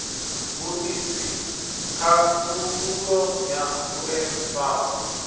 vhuisi khakhululo ya vhue zwifhao